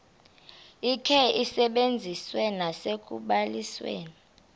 likhe lisetyenziswe nasekubalisweni